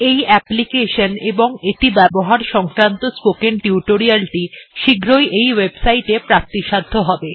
এই অ্যাপলিকেশন এবং এটি ব্যবহার সংক্রান্ত স্পোকেন টিউটোরিয়ালটি শীঘ্রই এই ওয়েবসাইটটি প্রাপ্তিসাধ্য হবে